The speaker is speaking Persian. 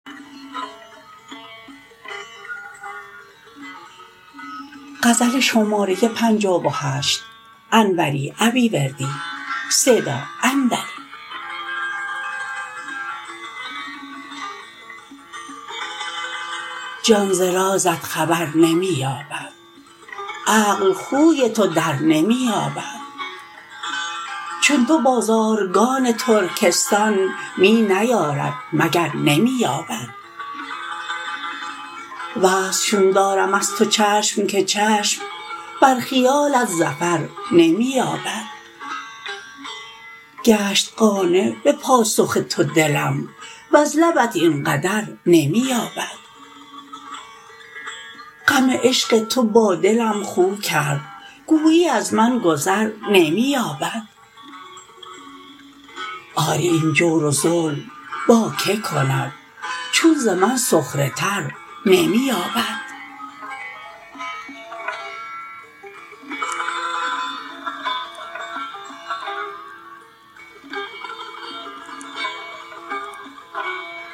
جان ز رازت خبر نمی یابد عقل خوی تو درنمی یابد چون تو بازارگان ترکستان می نیارد مگر نمی یابد وصل چون دارم از تو چشم که چشم بر خیالت ظفر نمی یابد گشت قانع به پاسخ تو دلم وز لبت این قدر نمی یابد غم عشق تو با دلم خو کرد گویی از من گذر نمی یابد آری این جور و ظلم با که کند چون ز من سخره تر نمی یابد